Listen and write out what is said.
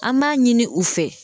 An b'a ɲini u fɛ